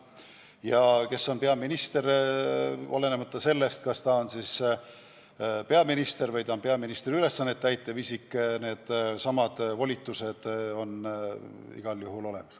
Ja olenemata sellest, kas ta on peaminister või peaministri ülesandeid täitev isik, need volitused on igal juhul olemas.